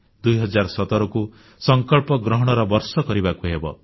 2017କୁ ସଂକଳ୍ପ ଗ୍ରହଣର ବର୍ଷ କରିବାକୁ ହେବ